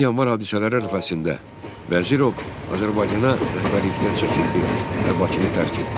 20 Yanvar hadisələri ərəfəsində Vəzirov Azərbaycana rəhbərlikdən çəkildi və Bakını tərk etdi.